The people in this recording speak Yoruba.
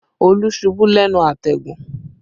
Olú ṣubú lẹ́nu àtẹ̀gùn